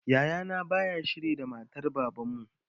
Yaya na baya shiri da matar baban mu